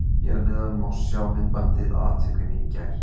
Hér að neðan má sjá myndbandið af atvikinu í gær.